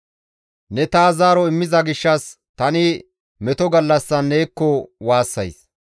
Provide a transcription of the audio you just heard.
Ne taas zaaro immiza gishshas tani meto gallassan neekko waassays.